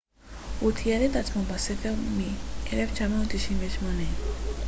הוא תיעד את עצמו בספר מ-1998